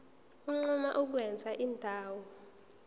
unquma ukwenza indawo